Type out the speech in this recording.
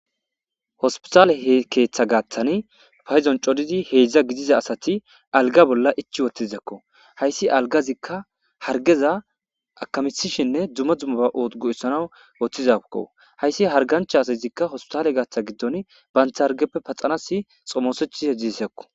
Hospital ketha gathani payidoni corridi hedza gidida assati aligga bolla ichi utizako . hayisi aligazi harigeza akamishene duma dumaba othanawu utizako hayisi hariganchazika hospital gidon banitta harigezape paxanasi xomesetishe desi